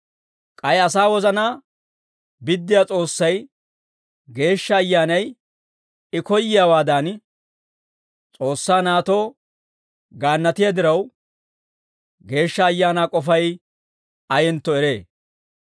K'ay asaa wozanaa biddiyaa S'oossay, Geeshsha Ayyaanay I koyyiyaawaadan, S'oossaa naatoo gaannatiyaa diraw, Geeshsha Ayaanaa k'ofay ayentto eree.